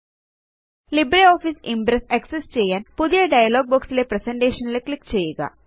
LibreOffice Impress access ചെയ്യാന് പുതിയ dialog box ലെ പ്രസന്റേഷൻ ക്ലിക്ക് ചെയ്യുക